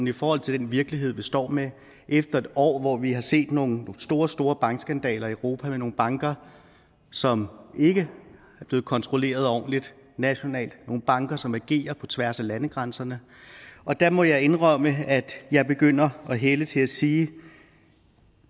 i forhold til den virkelighed vi står med efter et år hvor vi har set nogle store store bankskandaler i europa med nogle banker som ikke er blevet kontrolleret ordentligt nationalt nogle banker som agerer på tværs af landegrænserne og der må jeg indrømme at jeg begynder at hælde til at sige at